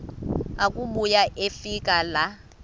akubuya afike laa